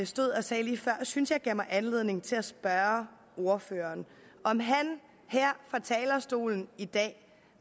stod og sagde lige før synes jeg giver mig anledning til at spørge ordføreren om han her fra talerstolen i dag